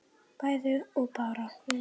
bæði og bara